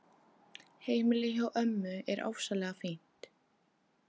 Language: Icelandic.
Heimilið hjá ömmu er ofsalega fínt.